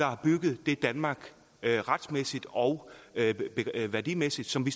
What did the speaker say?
har bygget det danmark retsmæssigt og værdimæssigt som vi